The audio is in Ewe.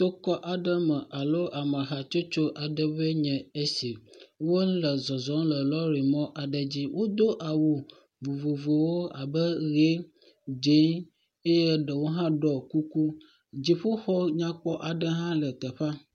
Tokɔ aɖe me alo ame hatsotso aɖewo enye esi. Wole zɔzɔm le lɔrimɔ aɖe dzi. Wodo awu vovovowo abe ʋi, dzɛ̃, eye ɖewo hã do kuku. Dziƒoxɔ aɖe hã le teƒea.